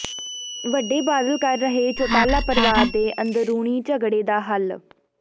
ਵੱਡੇ ਬਾਦਲ ਕਰ ਰਹੇ ਚੌਟਾਲਾ ਪਰਿਵਾਰ ਦੇ ਅੰਦਰੂਨੀ ਝਗੜੇ ਦਾ ਹੱਲ